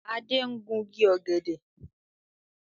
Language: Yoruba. Adé ń gungi ọ̀gẹ̀dẹ̀